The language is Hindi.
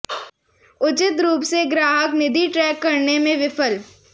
उचित रूप से ग्राहक निधि ट्रैक करने में विफल